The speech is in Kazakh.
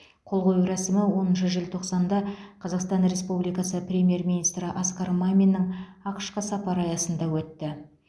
қол қою рәсімі оныншы желтоқсанда қазақстан республикасы премьер министрі асқар маминнің ақш қа сапары аясында өтті